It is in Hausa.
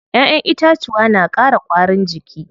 Ƴaƴen itacuwa na ƙara ƙwarin jiki.